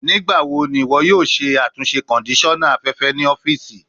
Nigbawo ni iwọ yoo ṣe atunṣe kondisona afẹfẹ ni ọfiisi?